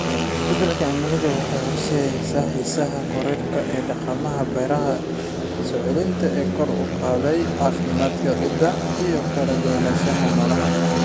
Isbeddelka cimiladu waxay horseedaysaa xiisaha korodhka ee dhaqamada beeraha soo celinta ee kor u qaadaya caafimaadka ciidda iyo kala duwanaanshaha noolaha.